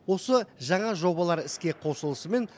осы жаңа жобалар іске қосылысымен